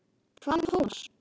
Hvað um Thomas?